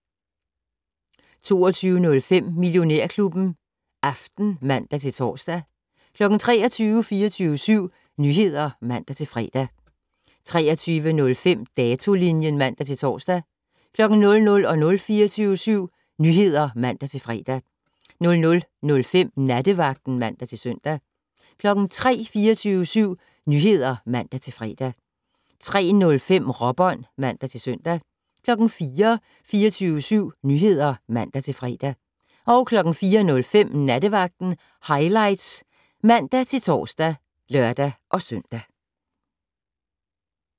22:05: Millionærklubben Aften (man-tor) 23:00: 24syv Nyheder (man-fre) 23:05: Datolinjen (man-tor) 00:00: 24syv Nyheder (man-fre) 00:05: Nattevagten (man-søn) 03:00: 24syv Nyheder (man-fre) 03:05: Råbånd (man-søn) 04:00: 24syv Nyheder (man-fre) 04:05: Nattevagten Highlights (man-tor og lør-søn)